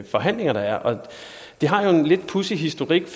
forhandlinger der er det har en lidt pudsig historik